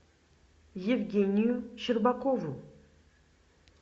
евгению щербакову